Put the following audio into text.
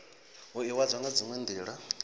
u ivhadzwa nga dziwe nila